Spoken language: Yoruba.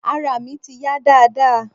Arà mi ti yá dáadáa.